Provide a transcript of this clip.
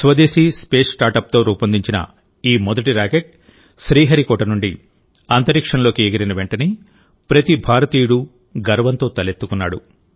స్వదేశీ space startup తో రూపొందించిన ఈ మొదటి రాకెట్ శ్రీహరికోట నుండి అంతరిక్షంలోకి ఎగిరినవెంటనే ప్రతి భారతీయుడు గర్వంతో తలెత్తుకున్నాడు